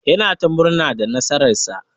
Yana ta murna da nasara'n sa.